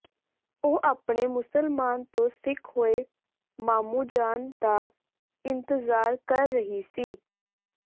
ਉਹ ਆਪਣੇ ਮੁਸਲਮਾਨ ਤੋਂ ਸਿੱਖ ਹੋਏ ਮਾਮੂ ਜਾਨ ਦਾ ਇੰਤਜ਼ਾਰ ਕਰ ਰਹੀ ਸੀ